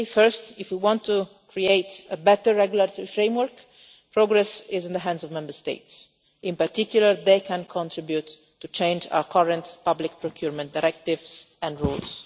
First, if we want to create a better regulatory framework, progress is in the hands of Member States in particular they can contribute to changing our current public procurement directives and rules.